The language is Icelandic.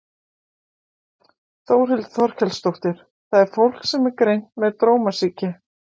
Þórhildur Þorkelsdóttir: Það er fólk sem er greint með drómasýki?